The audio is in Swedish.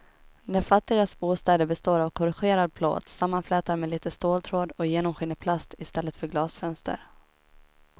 De fattigas bostäder består av korrugerad plåt sammanflätad med lite ståltråd och genomskinlig plast i stället för glasfönster.